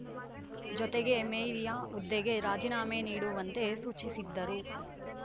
ಜೊತೆಗೆ ಮೇರಿಯ ಹುದ್ದೆಗೆ ರಾಜೀನಾಮೆ ನೀಡುವಂತೆ ಸೂಚಿಸಿದ್ದರು